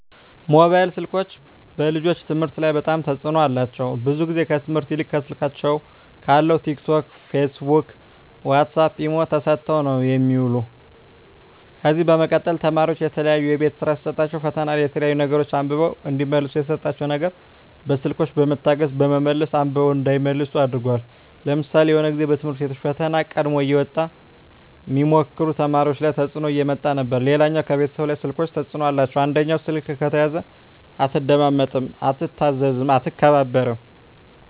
ሞባይል ስልኮች በልጆች ከትምህርት ላይ በጣም ተጽዕኖ አላቸው ብዙ ግዜ ከትምህርት ይልቅ ከስልካቸው ካለው ቲክ ቶክ ፊስቡክ ዋሳፕ ኢሞ ተሰጠው ነው የሚውሉ ከዚ በመቀጠል ተማሪዎች የተለያዩ የቤት ስራ ሲሰጣቸዉ ፈተና ላይ የተለያዩ ነገሮች አንብበው እዲመልሱ የተሰጣቸው ነገር በስልኮች በመታገዝ በመመለስ አንብበው እንዳይመልሱ አድርጓል ለምሳሌ የሆነ ግዜ በትምህርት ቤቶች ፈተና ቀድሞ እየወጣ ሚሞክሩ ተማሪዎች ላይ ተጽዕኖ እያመጣ ነበር ሌላው ከቤተሰብ ላይ ስልኮች ተጽዕኖ አላቸው አንደኛው ስልክ ከተያዘ አትደማመጥም አትታዘዝም አትከባበርም